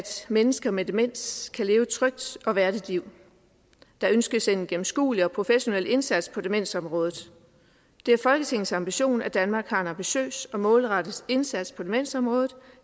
mennesker med demens kan leve et trygt og værdigt liv der ønskes en gennemskuelig og professionel indsats på demensområdet det er folketingets ambition at danmark har en ambitiøs og målrettet indsats på demensområdet